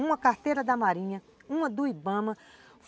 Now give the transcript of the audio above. Uma carteira da Marinha, uma do Ibama.